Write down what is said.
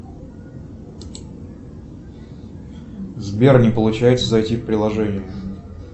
сбер не получается зайти в приложение